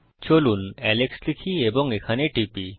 চলুন এলেক্স লিখি এবং এখানে টিপি